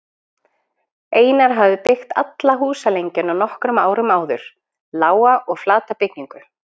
Einar hafði byggt alla húsalengjuna nokkrum árum áður, lága og flata byggingu.